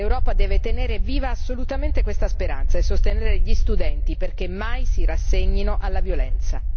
L'Europa deve tenere viva assolutamente questa speranza e sostenere gli studenti perché mai si rassegnino alla violenza.